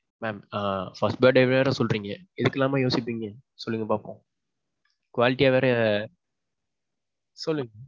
mam மொதோ birthday வேற சொல்றீங்க இதுக்கு எல்லாமா யோசிப்பீங்க சொல்லுங்க பாப்போம். quality யா வேற. சொல்லுங்க.